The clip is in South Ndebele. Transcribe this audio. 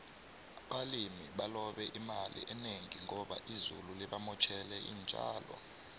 abalimi balobe imali enengi ngoba izulu libamotjele intjalo